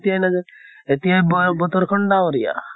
এতিয়া নাজানে এতিয়া বয় বৰত খন ডাৱৰীয়া আহ